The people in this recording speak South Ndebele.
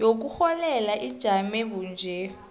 yokurholela ijame bunje